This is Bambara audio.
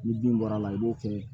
Ni bin bɔra a la i b'o kɛ